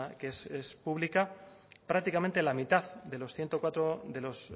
que es pública prácticamente un tercio de los